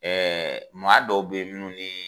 Ɛɛ maa dɔw be ye minnu nii